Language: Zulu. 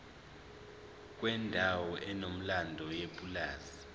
kwendawo enomlando yepulazi